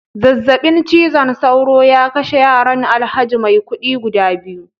zazzabin cizon sauro ya kashe yaran alhaji maikudi guda biyu